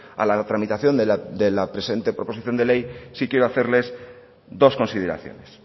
a la tramitación de la presente proposición de ley sí quiero hacerles dos consideraciones